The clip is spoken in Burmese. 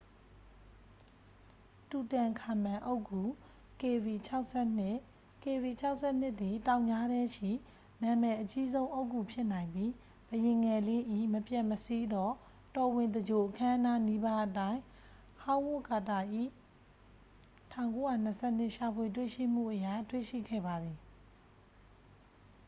"""တူတန်ခါမန် အုတ်ဂူ kv၆၂. kv၆၂ သည် တောင်ကြားထဲရှိ နာမည်အကြီးဆုံး အုတ်ဂူဖြစ်နိုင်ပြီး ဘုရင်ငယ်လေး၏ မပျက်မစီးသော တော်ဝင်သင်္ဂြိုလ်အခမ်းအနားနီးပါးအတိုင်း ဟောင်းဝပ်ကာတာ၏ ၁၉၂၂ ရှာဖွေတွေ့ရှိမှုအရ တွေ့ရှိခဲ့ပါသည်။""